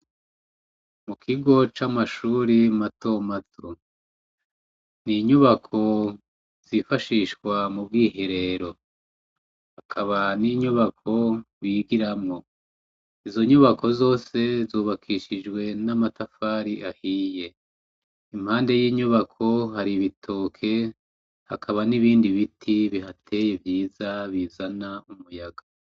Ikigo camashure matomato ni nyubako yifashishwa mubwiherero hakaba ninyubako bigiramwo, izo nyubako zose zubakishijwe n'amatafari ahiye .impande yinyubako hari ibitoki hakaba n’ibiti bihateye vyiza bizana umuyaga.